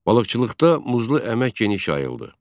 Balıqçılıqda muzlu əmək geniş yayıldı.